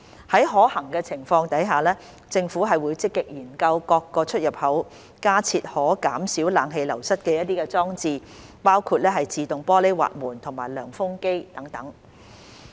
在可行的情況下，政府會積極研究於各出入口加設可減少冷氣流失的裝置，包括自動玻璃滑門和涼風機等。